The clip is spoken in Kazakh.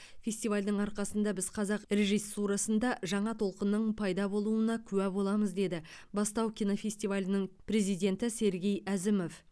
фестивальдің арқасында біз қазақ режиссурасында жаңа толқынның пайда болуына куә боламыз деді бастау кинофестивалінің президенті сергей әзімов